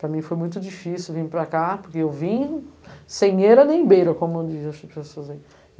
Para mim foi muito difícil vir para cá, porque eu vim sem era nem beira, como dizem as pessoas aí.